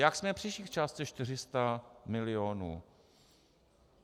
Jak jsme přišli k částce 400 milionů?